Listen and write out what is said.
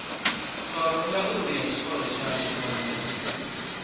khorondanguli ya tshikolo tshashu vhagudi